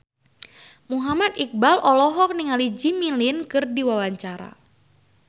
Muhammad Iqbal olohok ningali Jimmy Lin keur diwawancara